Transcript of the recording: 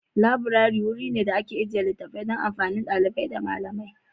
Laburare wuri ne da ake ajiye littattafai don amfanin ɗalibai da malamai.